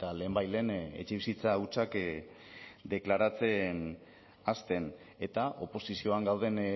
lehenbailehen etxebizitza hutsak deklaratzen hasten eta oposizioan gauden